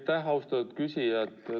Aitäh, austatud küsija!